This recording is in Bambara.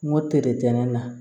N ko na